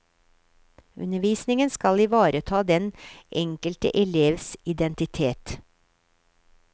Undervisningen skal ivareta den enkelte elevs identitet.